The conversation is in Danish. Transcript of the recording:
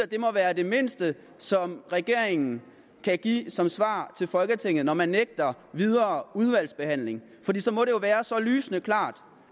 det må være det mindste som regeringen kan give som svar til folketinget når man nægter videre udvalgsbehandling fordi så må det jo være så lysende klart